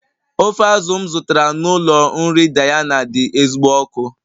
Ofe azụ̀ m zụtara n'ụlọ nri Diana dị ezigbo ọkụ